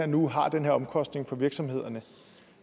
nu har den her omkostning for virksomhederne